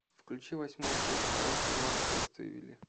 включи восьмую часть второго сезона следствие вели